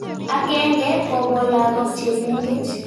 Akenge kopo lagok che mengech.